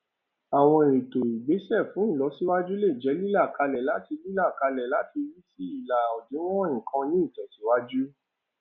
àwọn ètò ìgbésẹ fún ìlọsíwájú lè jẹ lílàkalẹ láti lílàkalẹ láti rí sí ìlà òdiwọn nǹkan ní ìtẹsíwájú